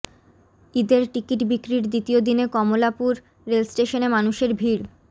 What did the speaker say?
ঈদের টিকিট বিক্রির দ্বিতীয় দিনে কমলাপুর রেলস্টেশনে মানুষের ভিড়